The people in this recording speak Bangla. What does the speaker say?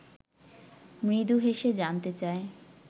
মৃদু হেসে জানতে চায়